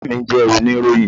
Ìyá mi jẹ́ oníròyìn.